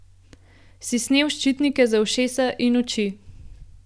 Si snel ščitnike za ušesa in oči.